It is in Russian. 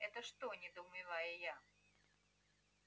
это что недоумеваю я